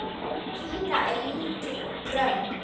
Pína er lítil og grönn.